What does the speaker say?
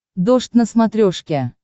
дождь на смотрешке